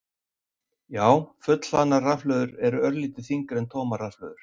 Já, fullhlaðnar rafhlöður eru örlítið þyngri en tómar rafhlöður.